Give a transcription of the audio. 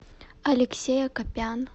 алексей акопян